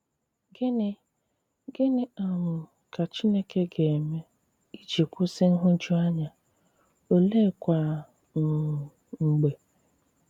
Gịnị Gịnị um ka Chìnékè ga-eme iji kwụsị nhụjuanya, oleekwa um mg̀bè?